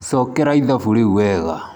Cokera ithabu rĩu wega.